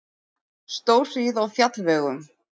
Stórhríð á fjallvegum